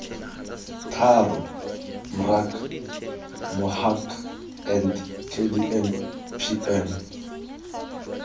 tharo mrac mohac and kdmpm